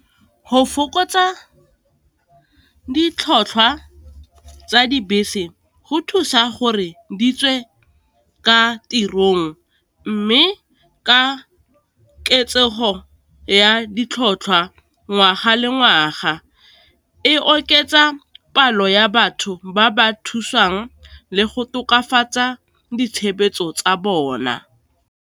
Go fokotsa ditlhotlhwa tsa dibese, go thusa gore di tswe ka tirong, mme ka oketsego ya ditlhotlhwa ngwaga le ngwaga, e oketsa palo ya batho ba ba thusang le go tokafatsa ditshebeletso tsa bona.